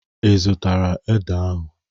Ị zụtara ede ahụ?